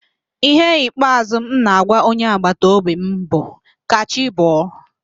Ihe ikpeazụ m na-agwa onye agbataobi m bụ, "ka chi bọọ"